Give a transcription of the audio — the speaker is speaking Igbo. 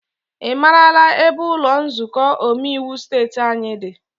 I maara ebe ụlọ nzukọ omeiwu steeti anyị dị?